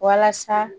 Walasa